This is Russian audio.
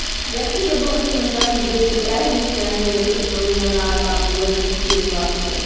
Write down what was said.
я вообще забыла что у нас с братом девять лет разница а ни то что он меня на там на года три четыре младше